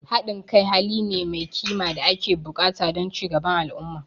Haɗin kai hali ne mai kima da ake buƙata don ci gaban al'umma.